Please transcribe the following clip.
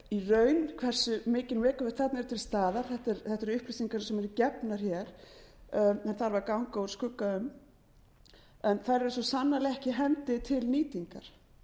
í raun hversu mikil megavatt þarna eru til staðar þetta eru upplýsingar sem eru gefnar hér en þarf að ganga úr skugga um en þær eru svo sannarlega ekki í hendi til nýtingar